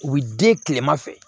U bɛ den tilema fɛ